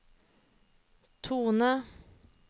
tone